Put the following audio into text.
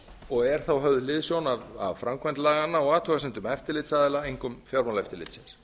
og er þá höfð hliðsjón af framkvæmd laganna og athugasemdum eftirlitsaðila einkum fjármálaeftirlitsins